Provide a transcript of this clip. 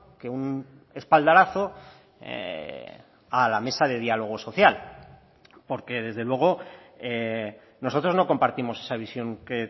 que un espaldarazo a la mesa de diálogo social porque desde luego nosotros no compartimos esa visión que